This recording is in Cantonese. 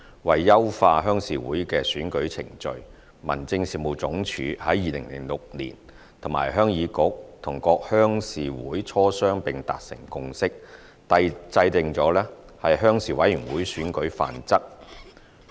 為優化鄉事會的選舉程序，民政事務總署在2006年與鄉議局及各鄉事會磋商並達成共識，制訂了《鄉事委員會選舉範則》。